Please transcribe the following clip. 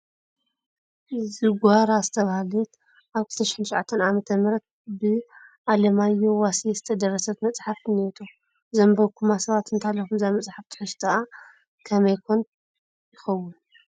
ዝጎራ ዝተባህለት ኣብ 2009 ዓመተ ምሕረት ብኣማዮሁ ዋሴ ዝተደረሰት መፅሓፍ እኔቶ፡፡ ዘንበብኩምዋ ሰባት እንተሃሊኹም እዛ መፅሓፍ ትሕዝቶኣ ከመይ ኮን ይኸውን?